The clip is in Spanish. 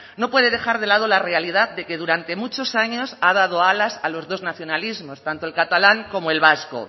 no puede dejar de lado la realidad de que durante muchos años ha dado alas a los dos nacionalismos tanto el catalán como el vasco